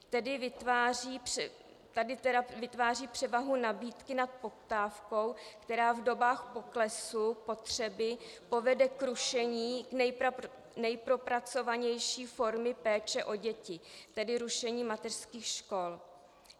Tedy vytváří převahu nabídky nad poptávkou, která v dobách poklesu potřeby povede k rušení nejpropracovanější formy péče o děti, tedy rušení mateřských škol.